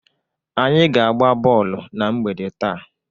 Anyị ga-agba bọọlụ na mgbede taa.